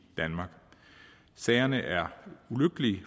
danmark sagerne er ulykkelige